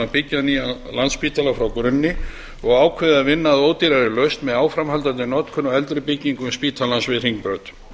byggja nýjan landspítala frá grunni og ákveðið að vinna að ódýrari lausn með áframhaldandi notkun á eldri byggingum spítalans við hringbraut